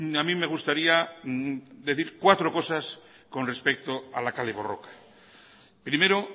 a mí me gustaría decir cuatro cosas con respecto a la kale borroka primero